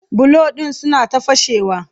bulo ɗin suna ta fashewa